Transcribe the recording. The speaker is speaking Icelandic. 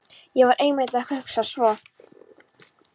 ÉG VAR EINMITT AÐ HUGSA SVO